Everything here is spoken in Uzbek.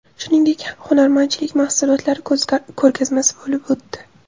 Shuningdek hunarmandchilik mahsulotlari ko‘rgazmasi bo‘lib o‘tdi.